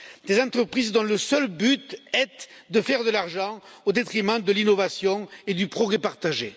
Des entreprises dont le seul but est de faire de l'argent au détriment de l'innovation et du progrès partagé.